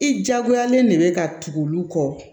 I diyagoyalen de bɛ ka tugu olu kɔ